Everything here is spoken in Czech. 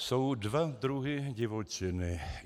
Jsou dva druhy divočiny.